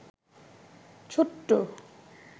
ছোট্ট